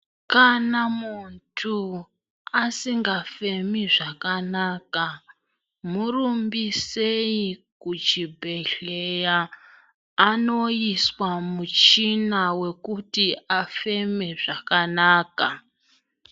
Kana muntu asingafemi zvakanaka murumbisei muchibhohlera andoiswa muchina wekuti afeme zvakanaka.